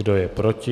Kdo je proti?